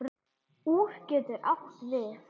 Úr getur átt við